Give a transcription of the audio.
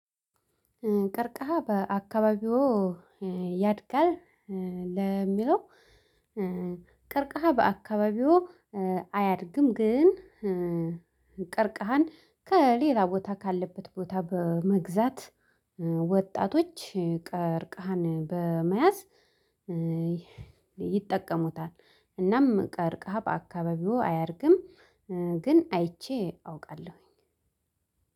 ቀርከሃ በአካባቢው ያድጋል። ለሚለው ቀርከሃ በአካባቢዎ አያድግም። ግን ቀርከሃን ከሌላ ቦታ ካለበት ቦታ በመግዛት ወጣቶች ቀርከሃን በመያዝ ይጠቀሙታል። እናም ቀርከሃ በአካባቢዎ አያድግም። ግን አይቼ አውቃለሁኝ።